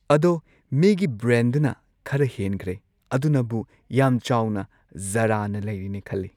ꯑꯗꯣ ꯃꯤꯒꯤ ꯕ꯭ꯔꯦꯟꯗꯨꯅ ꯈꯔ ꯍꯦꯟꯒ꯭ꯔꯦ ꯑꯗꯨꯅꯕꯨ ꯌꯥꯝ ꯆꯥꯎꯅ ꯖꯥꯔꯥꯅ ꯂꯩꯔꯤꯅꯦ ꯈꯜꯂꯦ